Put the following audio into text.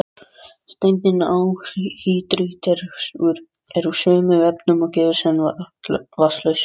Steindin anhýdrít er úr sömu efnum og gifs, en vatnslaust.